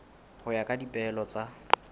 ho ya ka dipehelo tsa